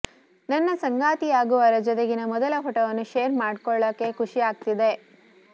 ನನ್ನ ಸಂಗಾತಿಯಾಗುವವರ ಜೊತೆಗಿನ ಮೊದಲ ಪೋಟೋವನ್ನು ಶೇರ್ ಮಾಡ್ಕೊಳೋಕೆ ಖುಷಿ ಆಗ್ತಿದೆ